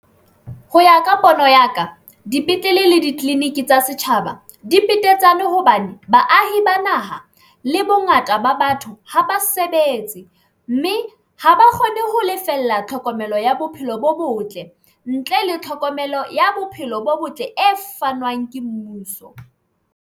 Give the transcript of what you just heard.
Ho ya ka pono ya ka, dipetlele le ditleliniki tsa setjhaba di petetsane hobane baahi ba naha le bongata ba batho ha ba sebetse tse ng mme ha ba kgone ho lefella tlhokomelo ya bophelo bo botle ntle le tlhokomelo ya bophelo bo botle e fanwang ke mmuso.